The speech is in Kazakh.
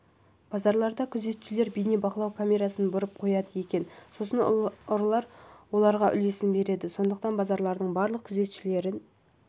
базарларда күзетшілер бейнебақылау камерасын бұрып қояды екен сосын ұрылар оларға үлесін береді сондықтан базарлардың барлық күзетшілерін